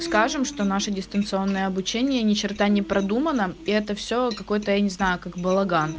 скажем что наше дистанционное обучение ни черта не продуманно и это все какой-то я не знаю как балаган